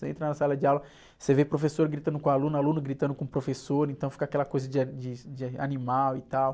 Você entra na sala de aula, você vê professor gritando com aluno, aluno gritando com professor, então fica aquela coisa de a, de, de animal e tal.